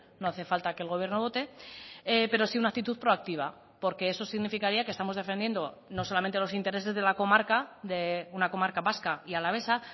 no hace falta que el gobierno vote pero sí una actitud proactiva porque eso significaría que estamos defendiendo no solamente los intereses de la comarca de una comarca vasca y alavesa